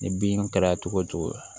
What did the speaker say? Ni bin kɛra cogo o cogo